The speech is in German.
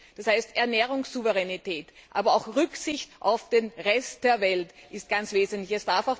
Das heißt, Ernährungssouveränität, aber auch Rücksicht auf den Rest der Welt sind ganz wesentlich.